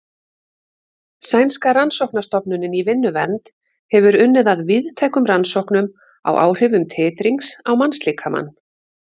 Sænska rannsóknastofnunin í vinnuvernd hefur unnið að víðtækum rannsóknum á áhrifum titrings á mannslíkamann.